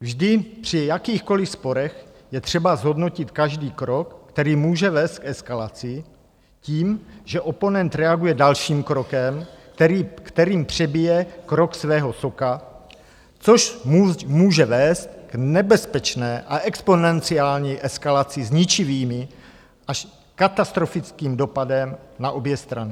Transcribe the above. Vždy při jakýchkoliv sporech je třeba zhodnotit každý krok, který může vést k eskalaci tím, že oponent reaguje dalším krokem, kterým přebije krok svého soka, což může vést k nebezpečné a exponenciální eskalaci s ničivým až katastrofickým dopadem na obě strany.